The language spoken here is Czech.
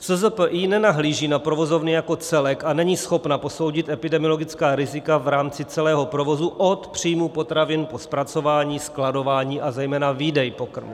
SZPI nenahlíží na provozovny jako celek a není schopna posoudit epidemiologická rizika v rámci celého provozu od příjmu potravin po zpracování, skladování, a zejména výdej pokrmů.